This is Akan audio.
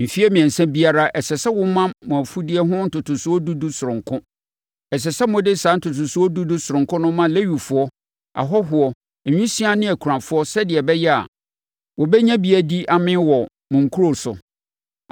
Mfeɛ mmiɛnsa biara, ɛsɛ sɛ moma mo mfudeɛ ho ntotosoɔ dudu sononko. Ɛsɛ sɛ mode saa ntotosoɔ dudu sononko no ma Lewifoɔ, ahɔhoɔ, nwisiaa ne akunafoɔ sɛdeɛ ɛbɛyɛ a, wɔbɛnya bi adi amee wɔ mo nkuro so.